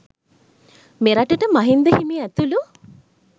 මෙරටට මහින්ද හිමි ඇතුළු